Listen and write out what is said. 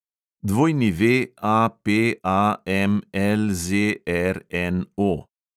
WAPAMLZRNO